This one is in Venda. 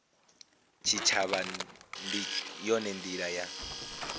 tshitshavha ndi yone ndila ya